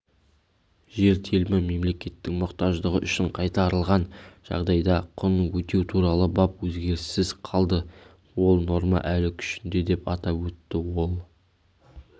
жер телімі мемлекеттің мұқтаждығы үшін қайтарылған жағдайда құнын өтеу туралы бап өзгеріссіз қалды ол норма әлі күшінде деп атап өтті ол